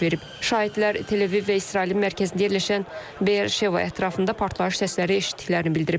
Şahidlər Tel-Əviv və İsrailin mərkəzində yerləşən Beer-Şeva ətrafında partlayış səsləri eşitdiklərini bildiriblər.